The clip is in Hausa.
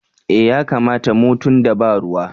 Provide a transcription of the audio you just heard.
Eh ya kamata mu tunda ba ruwa.